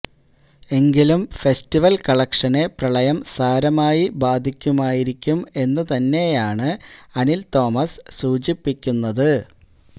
എങ്കിലും ഫെസ്റ്റിവല് കളക്ഷനെ പ്രളയം സാരമായി ബാധിക്കുമായിരിക്കും എന്നു തന്നെയാണ് അനില് തോമസ് സൂചിപ്പിക്കുന്നത്